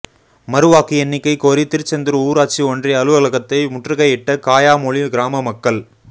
மறுவாக்கு எண்ணிக்கை கோரி திருச்செந்தூா் ஊராட்சி ஒன்றிய அலுவலகத்தை முற்றுகையிட்ட காயாமொழி கிராம மக்கள்